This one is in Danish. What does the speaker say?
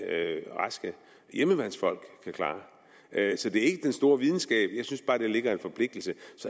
raske hjemmeværnsfolk kan klare så det er ikke den store videnskab jeg synes bare at der ligger en forpligtelse